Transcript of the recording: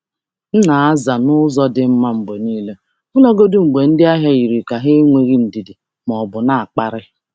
M na-aza n’ụzọ dị mma mgbe niile, ọbụlagodi mgbe ndị ahịa yiri ka ha enweghị ndidi ma ọ bụ na-akparị.